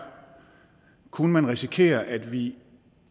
kunne man risikere at vi